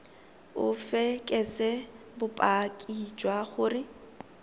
o fekese bopaki jwa gore